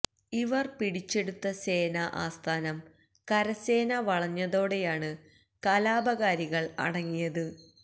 ഇവര് പിടിച്ചെടുത്ത സേനാ ആസ്ഥാനം കരസേന വളഞ്ഞതോടെയാണ് കലാപകാരികള് അടങ്ങിയത്